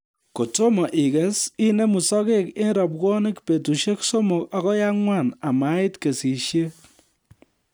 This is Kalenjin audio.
Kotomo iges inemu sogek eng robwonik betusiek somok agoi ang'wan amait kesishet